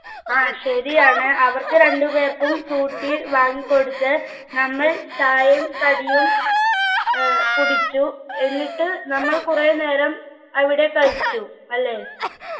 ആ ശരിയാണ് അവർക്ക് രണ്ടുപേർക്കും ഫ്രൂട്ടി വാങ്ങിക്കൊടുത്ത് നമ്മൾ ചായയും കടിയും ഏർ കുടിച്ചു എന്നിട്ട് നമ്മൾ കുറെ നേരം അവിടെ കളിച്ചു അല്ലെ